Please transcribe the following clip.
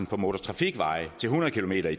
på motortrafikveje til hundrede kilometer